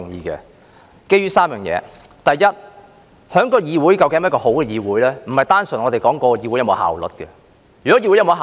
這是基於3點：第一，一個議會是否一個好的議會，並非單純講求議會是否有效率。